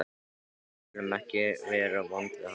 Við skulum ekki vera vond við hann.